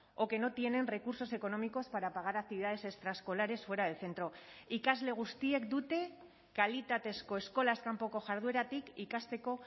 o que no tienen recursos económicos para pagar actividades extraescolares fuera del centro ikasle guztiek dute kalitatezko eskolaz kanpoko jardueratik ikasteko